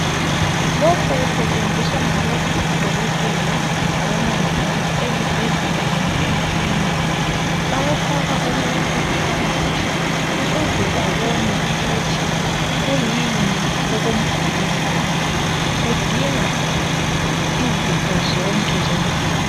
Lokhu kusetshenziswa ngabodokotela labomongikazi ezibhedlela kumbe emaklinika bayafaka umuntu phakathi ukuze babone ukuthi kuyini okumgulisayo kudinga izifo zonke zomzimba.